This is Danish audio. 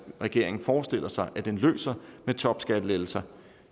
regeringen forestiller sig at den løser med topskattelettelser